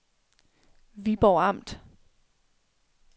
Viborg Amt